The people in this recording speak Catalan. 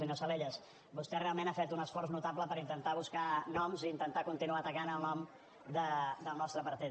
senyor salellas vostè realment ha fet un esforç notable per intentar buscar noms i intentar continuar tacant el nom del nostre partit